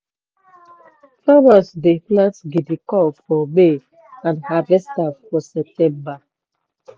farmers dey plant guinea corn for may and harvest am for september.